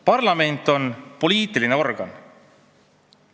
Parlament on poliitiline organ.